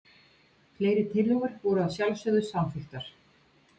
Fleiri tillögur voru að sjálfsögðu samþykktar